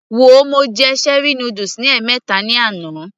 Wo, mo jẹ cherie noodles ní ẹ̀mẹta ní àná